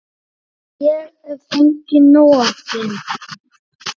Hef fengið nóg af þeim.